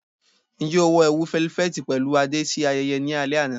Ṣe o wọ ẹwu felifeti pẹlu ade si ayẹyẹ ni alẹ ana?